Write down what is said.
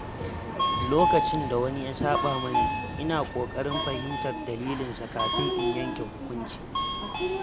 Lokacin da wani ya saƄa mani, ina ƙoƙarin fahimtar dalilinsa kafin in yanke hukunci.